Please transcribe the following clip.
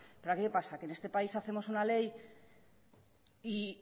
pero aquí qué pasa que en este país hacemos una ley y